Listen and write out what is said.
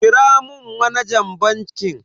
Kira mun manajan bankin.